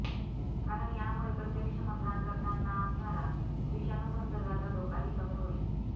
कारण यामुळे प्रत्यक्ष मतदान करताना असणारा विषाणू संसर्गाचा धोकाही कमी होईल